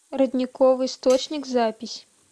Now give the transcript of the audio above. родниковый источник запись